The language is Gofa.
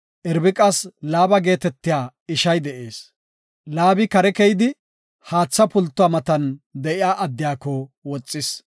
Irbiqas Laaba geetetiya ishay de7ees. Laabi kare keyidi haatha pultuwa matan de7iya addiyako woxis.